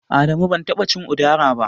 Adamu ban taɓa cin Udara ba.